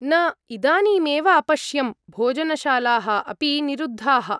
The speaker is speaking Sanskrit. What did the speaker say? न, इदानीमेव अपश्यं, भोजनशालाः अपि निरुद्धाः।